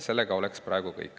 Sellega oleks praegu kõik.